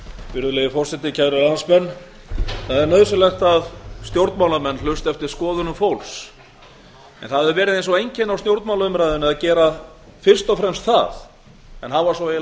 nú er nauðsynlegt að stjórnmálamenn hlusti eftir skoðunum fólks en stjórnmálamenn verða einnig að standa fyrir máli sínu of algengt er að stjórnmálaumræða sé lituð af lýðskrumi í stað þess að snúast um ígrundaða